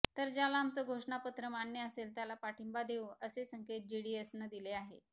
तर ज्याला आमचं घोषणापत्र मान्य असेल त्याला पाठिंबा देवू असे संकेत जेडीएसनं दिले आहेत